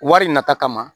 Wari nata kama